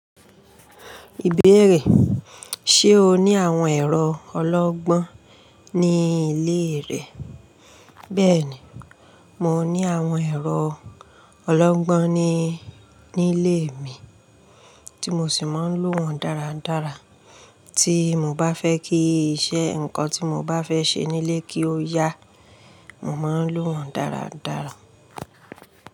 Ìbéèrè: ṣe o ní àwọn ẹ̀rọ ọlọ́gbọ́n ní ilé rẹ? Bẹ́ẹ̀ni, mo ní àwọn ẹ̀rọ ọlọ́gbọ́n ní, nílé mi tí mo sì máa ń lò wọ́n dáradára. Tí mo bá fẹ́ kí iṣẹ́ nǹkan tí mo bá fẹ́ ṣe nílé kí ó yá, mò ń má lò wọ́n dáradára.